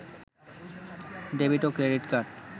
debit ও credit card